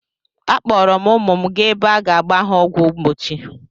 Akpọọrọ m ụmụ m gaa ebe a ga-agba ha ọgwụ mgbochi.